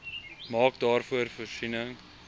maak daarvoor voorsiening